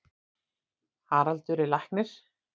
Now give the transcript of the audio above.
Haraldur er læknir.